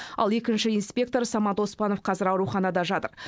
ал екінші инспектор самат оспанов қазір ауруханада жатыр